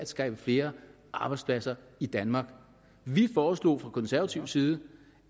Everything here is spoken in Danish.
skabe flere arbejdspladser i danmark vi foreslog fra konservativ side